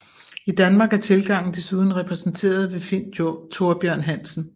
I Danmark er tilgangen desuden repræsenterer ved Finn Thorbjørn Hansen